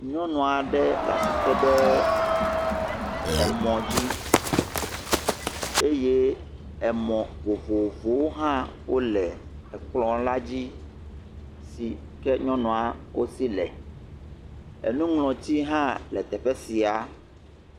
Nyɔnu aɖe le asi tem ɖe emɔ dzi eye emɔ vovovowo hã wole ekplɔ la dzi, si ke nyɔnua wo si le, enuŋlɔti hã teƒe sia.